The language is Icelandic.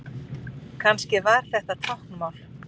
Kannski var þetta táknmál?